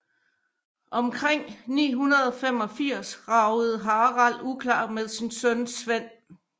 Omkring 985 ragede Harald uklar med sin søn Svend